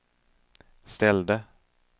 ställde